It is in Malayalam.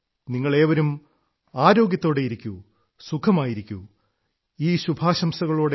നിങ്ങളേവരും ആരോഗ്യത്തോടെയിരിക്കൂ സുഖമായിരിക്കൂ ഈ ശുഭാശംസകളോടെ